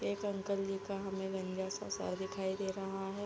एक अंकल जी का हमें गंजा सा सर दिखाई दे रहा है।